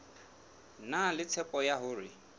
na le tshepo ya hore